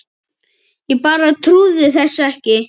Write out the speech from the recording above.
Ég bara trúði þessu ekki.